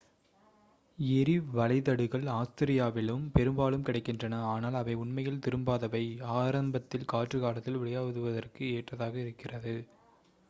எறிவளைதடுகள் ஆஸ்திரேலியாவில் பெரும்பாலும் கிடைக்கின்றன ஆனால் அவை உண்மையில் திரும்பாதவை ஆரம்பத்தில் காற்று காலத்தில் விளையாடுவதற்கு ஏற்றதாக இருக்கிறது